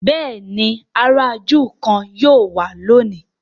béèni àrà júù kán yíò wá lóni.